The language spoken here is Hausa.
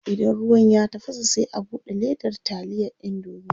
Idan ruwan ya tafasa sai a bude ledar taliya indomie.